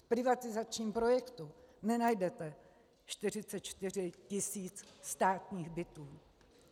V privatizačním projektu nenajdete 44 tisíc státních bytů.